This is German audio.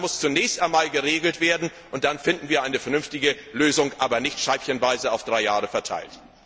Das muss zunächst einmal geregelt werden, und dann finden wir eine vernünftige Lösung, aber nicht scheibchenweise auf drei Jahre verteilt.